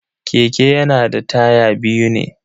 Keke yana da taya biyu ne.